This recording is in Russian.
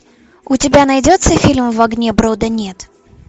у тебя найдется фильм в огне брода нет